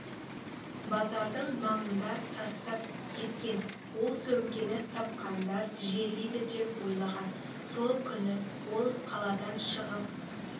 базарының маңында тастап кеткен ол сөмкені тапқандар жерлейді деп ойлаған сол күні ол қаладан шығып